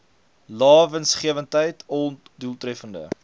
lae winsgewendheid ondoeltreffende